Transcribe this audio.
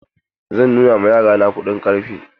Zan nuna ma yara na kuɗin ƙarfe.